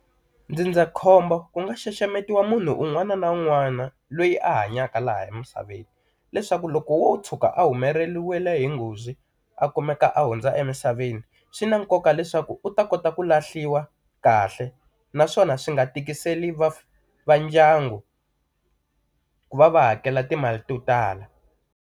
Ndzindzakhombo ku nga xaxametiwa munhu un'wana na un'wana loyi a hanyaka laha emisaveni. Leswaku loko wo tshuka a humeleriwe hi nghozi a kumeka a hundza emisaveni, swi na nkoka leswaku u ta kota ku lahliwa kahle naswona swi nga tikiseli va va ndyangu ku va va hakela timali to tala.